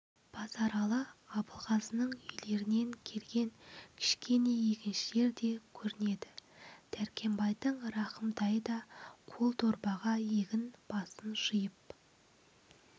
базаралы абылғазының үйлерінен келген кішкене егіншілер де көрінеді дәркембайдың рахымтайы да қол дорбаға егін басын жиып